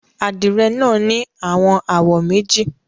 Adire naa ni awọn awọ meji